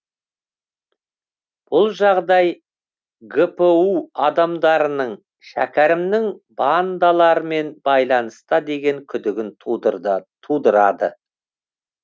бұл жағдай гпу адамдарының шәкерімнің бандалармен байланыста деген күдігін тудырады